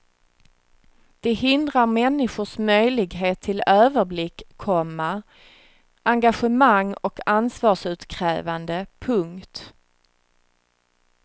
Det hindrar människors möjlighet till överblick, komma engagemang och ansvarsutkrävande. punkt